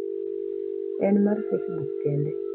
En mar Facebook kende.